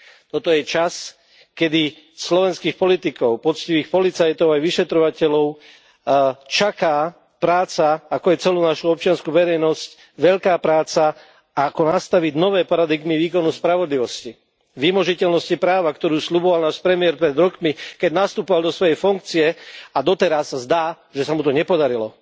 Toto je čas, kedy slovenských politikov, poctivých policajtov aj vyšetrovateľov čaká práca, ako aj celú našu občiansku verejnosť, veľká práca, ako nastaviť nové paradigmy výkonu spravodlivosti, vymožiteľnosti práva, ktorú sľuboval náš premiér pred rokmi, keď nastupoval do svojej funkcie, a doteraz sa zdá, že sa mu to nepodarilo.